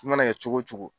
I mana kɛ cogo o cogo